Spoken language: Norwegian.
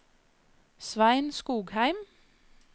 Svein Skogheim